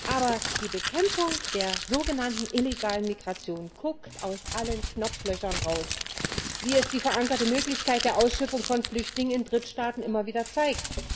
Aber die Bekämpfung der sogenannten illegalen Migration guckt aus allen Knopflöchern raus wie es die verankerte Möglichkeit der Ausschiffung von Flüchtlingen in Drittstaaten immer wieder zeigt.